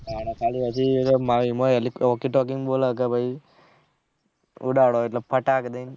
હા ખાલી અજુ wokey tokey માં બોલે છે ભાઈ ઉડાડે એટલે ફાટક દઈ ને